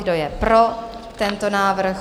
Kdo je pro tento návrh?